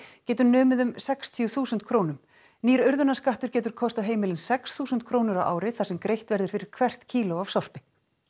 getur numið um sextíu þúsund krónum nýr getur kostað heimilin sex þúsund krónur á ári þar sem greitt verður fyrir hvert kíló af sorpi